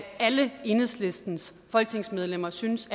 alle enhedslistens folketingsmedlemmer synes